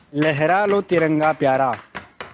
लहरा लो तिरंगा प्यारा